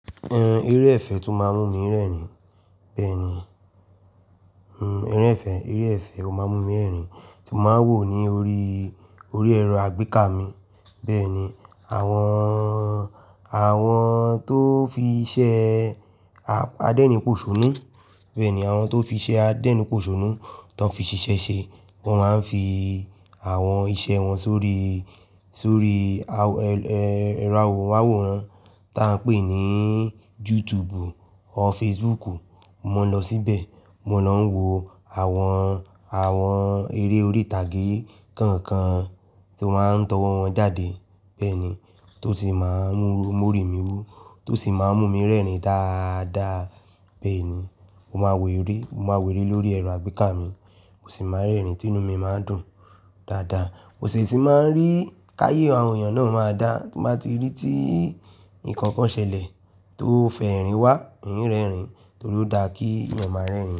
Ẹn, eré ẹ̀fẹ̀ tó máa ń mú mi rẹ́rìn. Bẹ́ẹ̀ ni, ẹran ẹ̀fẹ̀, eré ẹ̀fẹ̀ ó máa ń mú mi rẹ́rìn tí mo máa ń wò ó ní orí, orí ẹ̀rọ àgbéká mi. Bẹ́ẹ̀ ni, àwọn, àwọn tó fi iṣẹ́ adénipòṣónú, bẹ́ẹ̀ ni àwọn tó fi iṣẹ́ adénipòṣónú tán fi siṣẹ́ ṣe, wọ́n máa ń fi àwọn iṣẹ́ wọn sórí, sórí ẹ́rọ awòrán tó máa ń pè ní YouTube or Facebook. Mo lọ síbẹ̀, mo lọ ń wo àwọn, àwọn eré orí ìtàgé kọ̀ọ̀kan tí wan ń tọwọ́ wọn jáde. Bẹ́ẹ̀ ni, tó ti máa ń mú òrè mí wú, tó sì máa ń mú mi rẹ́rìn dáadáa. Bẹ́ẹ̀ ni, mo máa wò eré, mo máa wò eré lórí ẹ̀rọ àgbéká mi, mo sì máa rẹ́rìn, tinú mi máa ń dùn dáadáa. Mo sì ti máa ń rí káyé àwọn èèyàn náà máa dá tí mo bá ti rí tí nǹkan kan ṣẹlẹ̀ tó fẹ́ rìn wá, in ń rẹ́rìn torí ó dá kí èèyàn máa rẹ́rìn.